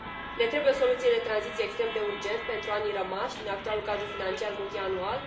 Ne trebuie o soluție de tranziție extrem de urgent pentru anii rămași din actualul cadru financiar multianual.